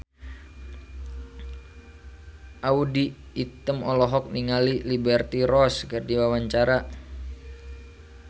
Audy Item olohok ningali Liberty Ross keur diwawancara